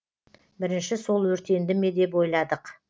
бірінші сол өртенді ме деп ойладық